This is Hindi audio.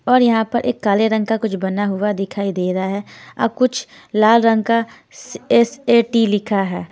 और यहां पर एक काले रंग का बना हुआ कुछ दिखाई दे रहा है और कुछ लाल रंग का एस_ए_टी लिखा है।